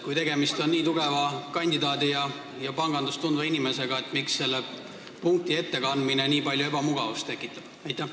Kui tegemist on nii tugeva kandidaadi ja pangandust tundva inimesega, miks selle punkti ettekandmine nii palju ebamugavust tekitab?